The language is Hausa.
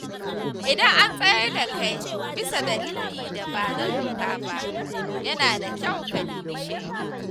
Idan an tsayar da kai bisa dalilin da ba na doka ba, yana da kyau ka nemi shaidu.